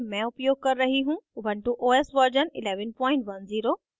ubuntu os version 1110